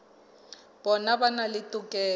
bona ba na le tokelo